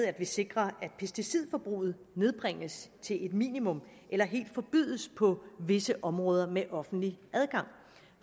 at vi sikrer at pesticidforbruget nedbringes til et minimum eller helt forbydes på visse områder med offentlig adgang